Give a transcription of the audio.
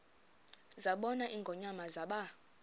zabona ingonyama zaba